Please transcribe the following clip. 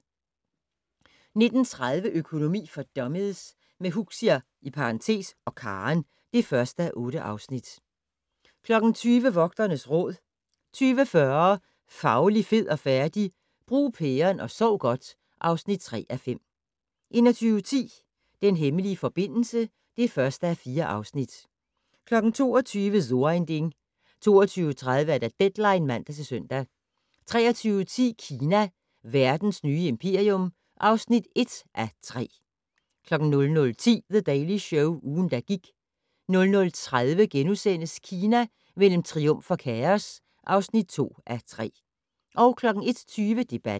19:30: Økonomi for dummies - med Huxi (og Karen) (1:8) 20:00: Vogternes Råd 20:40: Fauli, fed og færdig? - Brug pæren og sov godt (3:5) 21:10: Den hemmelige forbindelse (1:4) 22:00: So ein Ding 22:30: Deadline (man-søn) 23:10: Kina - verdens nye imperium (1:3) 00:10: The Daily Show - ugen, der gik 00:30: Kina mellem triumf og kaos (2:3)* 01:20: Debatten